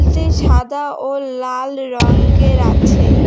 সাদা ও লাল রংগের আছে।